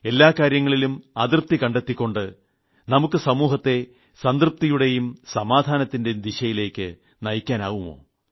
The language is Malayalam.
എല്ലാ കാര്യങ്ങളിലും അതൃപ്തി കണ്ടെത്തിക്കൊണ്ട് നമുക്ക് സമൂഹത്തെ സംതൃപ്തിയുടെയും സമാധാനത്തിന്റെ ദിശയിലേക്ക് നയിക്കാനാവുമോ